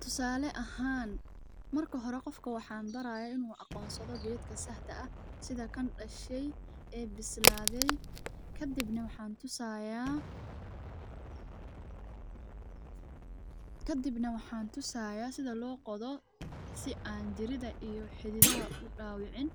Tusale ahan marka hore qofka waxan baraya inu aqonsado gedka saxda ah sidhaa kan dashay oo bisladey kadibna waxan tusayaa sidhaa lo qodoo si an jiridaa iyo xidhidhaha an u dawicin.